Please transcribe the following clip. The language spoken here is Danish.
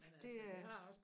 Det er